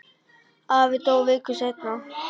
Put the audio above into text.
Afi dó viku seinna.